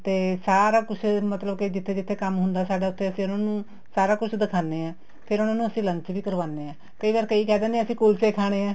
ਤੇ ਸਾਰਾ ਕੁੱਛ ਮਤਲਬ ਕੇ ਜਿੱਥੇ ਜਿੱਥੇ ਕੰਮ ਹੁੰਦਾ ਹੈ ਸਾਡਾ ਉੱਥੇ ਅਸੀਂ ਉਹਨਾ ਨੂੰ ਸਾਰਾ ਕੁੱਛ ਦਿਖਾਣੇ ਹਾਂ ਫ਼ੇਰ ਅਸੀਂ ਉਹਨਾ ਨੂੰ lunch ਵੀ ਕਰਵਾਉਣੇ ਹਾਂ ਤੇ ਕਈ ਵਾਰ ਕਈ ਕਹਿ ਦਿੰਨੇ ਹੈ ਕੁੱਲਚੇ ਖਾਣੇ ਹੈ